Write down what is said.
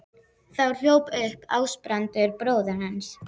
Þá hljóp upp Ásbrandur bróðir hans.